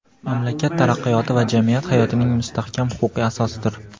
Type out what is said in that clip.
mamlakat taraqqiyoti va jamiyat hayotining mustahkam huquqiy asosidir.